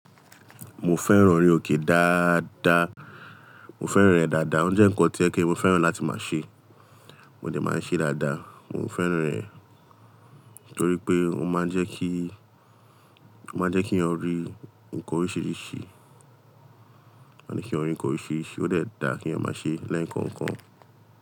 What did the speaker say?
Mo fẹ́ràn ori òkè dáadáa, mo fẹ́ràn rẹ̀ dáadáa. Ó jẹ́ nǹkan tí yẹ pe mo fẹ́ràn láti máa ṣe. Mo de máa ń ṣe dáadáa. Mo fẹràn rè tori pe o máa n je ki, ọ máa n je ki èèyàn ri nnkan orisirisi. Ó je kí èèyàn rí nǹkan oríṣiríṣi, ó dẹ̀ dá kí èèyàn máa ṣe le kan kan.